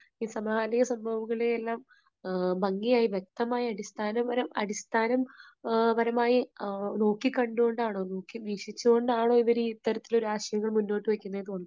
സമകാലിക സംഭവങ്ങളെ എല്ലാം ഭംഗിയായി വ്യക്തമായി അടിസ്ഥാന, അടിസ്ഥാനപരമായി നോക്കി കണ്ടു കൊണ്ടാണോ വീക്ഷിച്ചുകൊണ്ടാണോ ഇവരീ ഇത്തരത്തിലുള്ള ആശയങ്ങൾ മുന്നോട്ടു വയ്ക്കുന്നത് എന്ന് തോന്നും